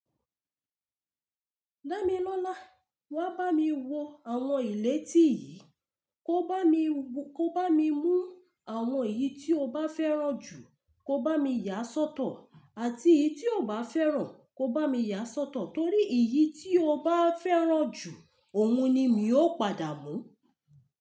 Dámilọ́lá, wá bá mi wo àwon ilé tí yìí, kó bá mi mú àwon èyí tí o bá fẹ́ràn jù kò bá mi yà sọ́tọ̀, àti èyí tí o kò bá fẹ́ràn kò bá mi yà sọ́tọ̀, torí èyí tí o bá fẹ́ràn jù, òun ni mi ó padà mú.